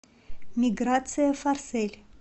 миграция форсель